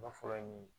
Ba fɔlɔ ye min ye